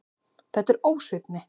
Þetta er ósvífni.